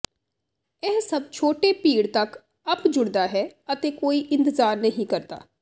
ਇਹ ਸਭ ਛੋਟੇ ਭੀੜ ਤੱਕ ਅੱਪ ਜੁੜਦਾ ਹੈ ਅਤੇ ਕੋਈ ਇੰਤਜ਼ਾਰ ਨਹੀਂ ਕਰਦਾ